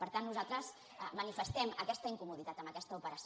per tant nosaltres manifestem aquesta incomoditat en aquesta operació